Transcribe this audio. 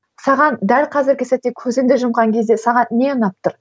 саған дәл қазіргі сәтте көзіңді жұмған кезде саған не ұнап тұр